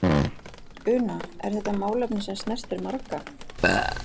Una, er þetta málefni sem snertir marga?